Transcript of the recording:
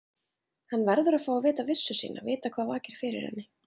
Hann verður að fá að vita vissu sína, vita hvað vakir fyrir henni.